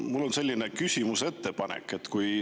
Mul on selline küsimus-ettepanek.